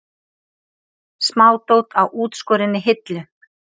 Smádót á útskorinni hillu.